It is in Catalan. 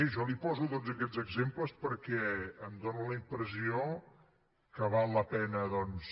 jo li poso tots aquests exemples perquè em dóna la impressió que val la pena doncs